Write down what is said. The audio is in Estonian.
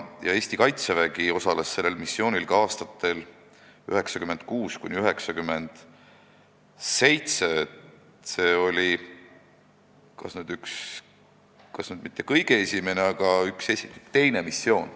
Eesti Kaitsevägi osales sellel missioonil ka aastatel 1996–1997, mis oli vist mitte meie kõige esimene, vaid teine missioon.